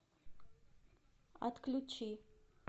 отключи